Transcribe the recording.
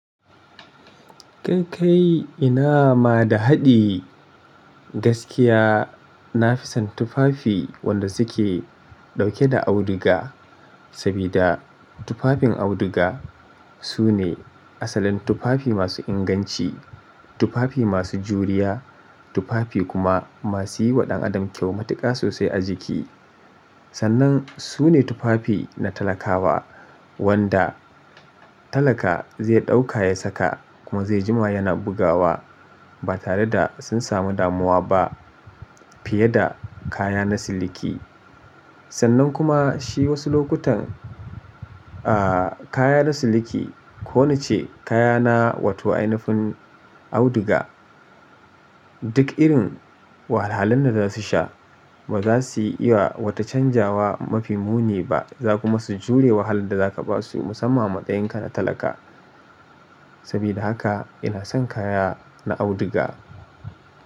Kai kai ina ma da haɗi gaskiya na fi son tufafi wanda suke ɗauke da auduga, sabida tufafin auduga su ne asalin tufafi masu inganci. Tufafi masu juriya, tufafi kuma masu yi wa ɗan adam kyau matuƙa sosai a jiki. Sannan su ne tufafi na talakawa wanda talaka zai ɗauka ya saka kuma zai jima yana bugawa ba tare da sun samu damuwa ba fiye da kaya na siliki. Sannan kuma shi wasu lokutan, ah kaya na siliki ko na ce kaya na wato ainifin auduga duk irin wahalhalun da za su sha ba za su iya wa wata canzawa mafi muni ba. Za kuma su jure wahalar da za ka ba su musamman matsayinka na talaka. Sabida haka ina son kaya na auduga.